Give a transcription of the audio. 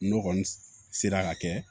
N'o kɔni sera ka kɛ